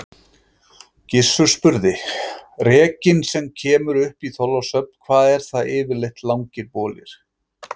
Gizur spurði:-Rekinn sem kemur upp í Þorlákshöfn, hvað eru það yfirleitt langir bolir?